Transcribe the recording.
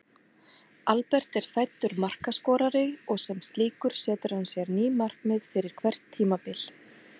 Albert er fæddur markaskorari og sem slíkur setur hann sér ný markmið fyrir hvert tímabil.